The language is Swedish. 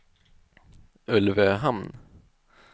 Ulvöhamn